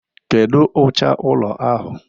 Kedu ụcha ụlọ ahụ?